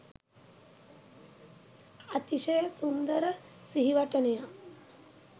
අතිශය සුන්දර සිහිවටනයක්